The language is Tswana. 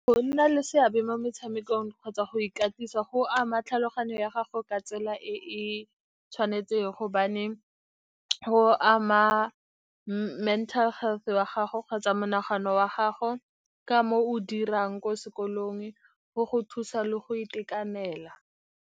Go nna le seabe mo metshamekong kgotsa go ikatisa go ama tlhaloganyo ya gago ka tsela e e tshwanetseng, gobane go ama mental health wa gago kgotsa monagano wa gago ka mo o dirang ko sekolong, go go thusa le go itekanela.